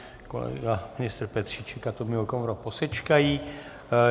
Kolega ministr Petříček a Tomio Okamura posečkají.